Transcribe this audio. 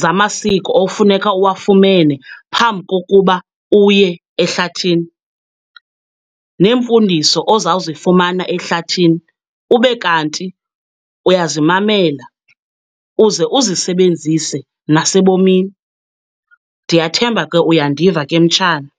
zamasiko ofuneka uwafumene phambi kokuba uye ehlathini, neemfundiso ozawuzifumana ehlathini ube kanti uyazimamela uze uzisebenzise nasebomini. Ndiyathemba ke uyandiva ke mtshana.